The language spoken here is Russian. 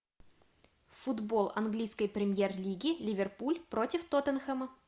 футбол английской премьер лиги ливерпуль против тоттенхэма